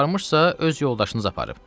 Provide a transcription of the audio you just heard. Aparıbsa, öz yoldaşınız aparıb.